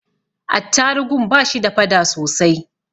Attarugun ba shi da fada sosai.